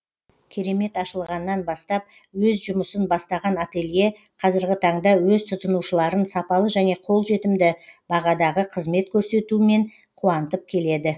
керемет ашылғаннан бастап өз жұмысын бастаған ателье қазіргі таңда өз тұтынушыларын сапалы және қолжетімді бағадағы қызмет көрсетуімен қуантып келеді